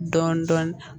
Dɔɔnin dɔɔnin